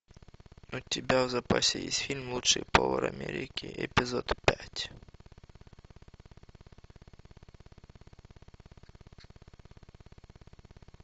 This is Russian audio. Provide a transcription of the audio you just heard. у тебя в запасе есть фильм лучший повар америки эпизод пять